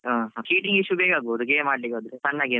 ಹಾ ಹಾ ಆಡ್ಲಿಕ್ಕೆ ಹೋದ್ರೆ ಸಣ್ಣ game .